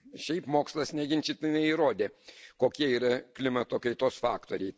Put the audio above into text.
Šiaip mokslas neginčytinai įrodė, kokie yra klimato kaitos faktoriai.